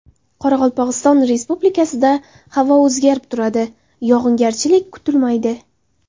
Qoraqalpog‘iston Respublikasida havo o‘zgarib turadi, yog‘ingarchilik kutilmaydi.